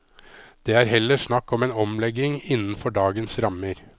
Det er heller snakk om en omlegging innenfor dagens rammer.